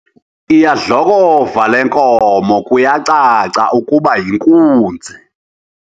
Iyadlokova le nkomo kuyacaca ukuba yinkunzi.